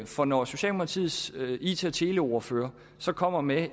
for når socialdemokratiets it og teleordfører så kommer med